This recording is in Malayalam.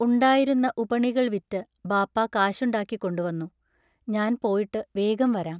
ഉണ്ടായിരുന്ന ഉപണികൾ വിറ് ബാപ്പാ കാശുണ്ടാക്കിക്കൊണ്ടുവന്നു ഞാൻ പോയിട്ടു വേഗം വരാം.